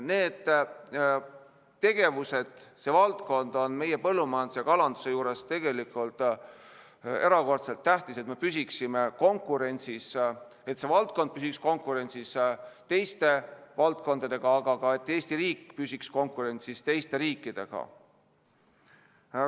Need tegevused, see valdkond on meie põllumajanduse ja kalanduse juures erakordselt tähtis, et me püsiksime konkurentsis, et see valdkond püsiks konkurentsis teiste valdkondadega, aga samuti, et Eesti riik püsiks konkurentsis teiste riikidega.